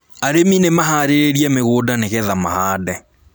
Arĩmi nĩmaharĩirie mĩgũnda nĩgetha mahande